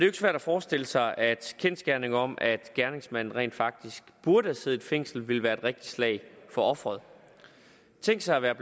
ikke svært at forestille sig at kendsgerningen om at gerningsmanden rent faktisk burde have siddet i fængsel ville være et rigtigt slag for ofrene tænk sig at være